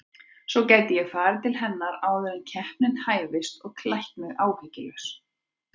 Svo gæti ég farið til hennar áður en keppnin hæfist og klætt mig áhyggjulaus.